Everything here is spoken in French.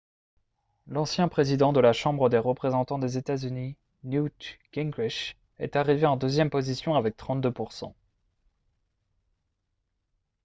l'ancien président de la chambre des représentants des états-unis newt gingrich est arrivé en deuxième position avec 32 %